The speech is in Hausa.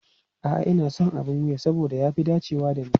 A'a, ina son abin wuya saboda ya fi dacewa da ni.